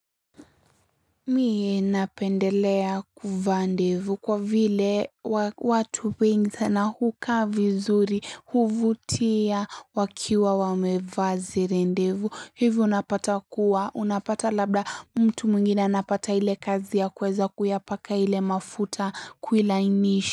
Mie napendelea kuvaa ndevu kwa vile watu wengi sana huka vizuri huvutia wakiwa wamevaa zile ndevu hivyo unapata kuwa unapata labda mtu mwingine anapata ile kazi ya kweza kuyapaka ile mafuta kuilainishi.